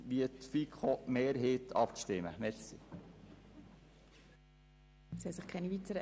Und dabei sind die Steuern auch ein Faktor.